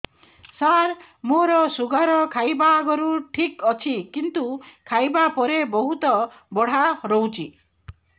ସାର ମୋର ଶୁଗାର ଖାଇବା ଆଗରୁ ଠିକ ଅଛି କିନ୍ତୁ ଖାଇବା ପରେ ବହୁତ ବଢ଼ା ରହୁଛି